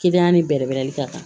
ni bɛrɛbɛrɛ ka kan